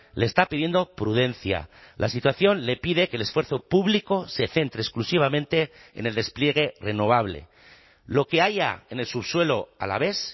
le está pidiendo prudencia la situación le pide que el esfuerzo público se centre exclusivamente en el despliegue renovable lo que haya en el subsuelo alavés